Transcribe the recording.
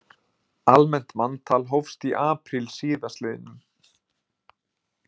Almennt manntal hófst í apríl síðastliðnum